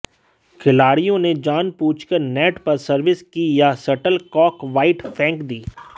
खिलाड़ियों ने जान बूझकर नेट पर सर्विस की या शटल कॉक वाइड फेंक दी